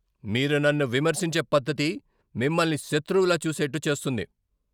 మీరు నన్ను విమర్శించే పద్ధతి మిమ్మల్ని శత్రువులా చూసేట్టు చేస్తుంది.